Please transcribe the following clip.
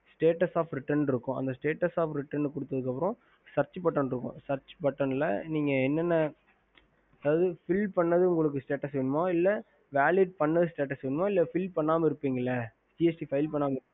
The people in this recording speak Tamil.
ஹம்